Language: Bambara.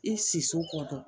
I siso kɔ